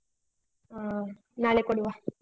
ಹಾ ನಾಳೆ ಕೊಡುವ.